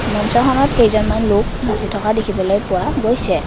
মঞ্চখনত কেইজনমান লোক নাচি থকা দেখিবলৈ পোৱা গৈছে।